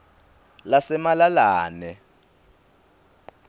lasemalalane